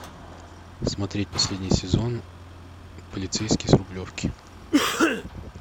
смотреть последний сезон полицейский с рублевки